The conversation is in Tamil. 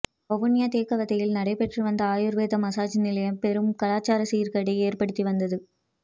வவுனியா தேக்கவத்தையில் நடைபெற்று வந்த ஆயுர்வேத மசாஜ் நிலையம் பெரும் கலாச்சார சீர்கேட்டை ஏற்படுத்தி வந்தது